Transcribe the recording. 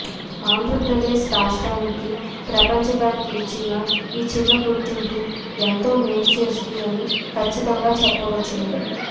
ఆంద్రప్రదేశ్ రాష్ట్రానికి ప్రపంచ బ్యాంక్ ఇచ్చిన ఈ చిన్న గుర్తింపు ఎంతో మేలు చేస్తుందని ఖచ్చితంగా చెప్పవచ్చును